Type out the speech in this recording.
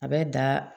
A bɛ da